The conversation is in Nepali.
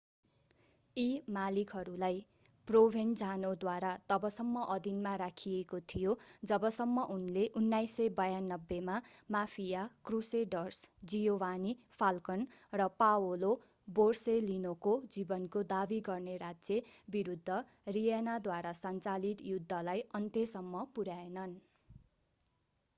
यी मालिकहरूलाई प्रोभेन्जानोद्वारा तबसम्म अधीनमा राखिएको थियो जबसम्म उनले 1992 मा माफिया क्रुसेडर्स जियोवानी फाल्कन र पाओलो बोरसेलिनोको जीवनको दाबी गर्ने राज्य विरूद्ध रीयनाद्वारा सञ्चालित युद्धलाई अन्त्यसम्म पुर्‍याएनन्।